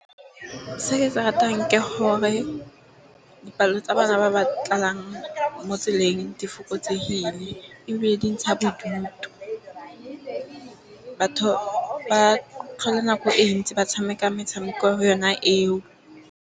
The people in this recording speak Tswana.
Se ke se ratang ke gore palo tsa bana ba ba tlang mo tseleng di fokotsegile. Ebile di ntsha bodutu batho ba tlhole nako e ntsi ba tshameka metshameko yona eo.